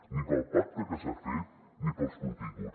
ni pel pacte que s’ha fet ni pels continguts